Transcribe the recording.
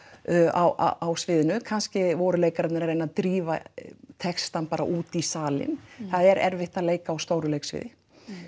á sviðinu kannski voru leikararnir að reyna að drífa textann bara út í salinn það er erfitt að leika á stóru sviði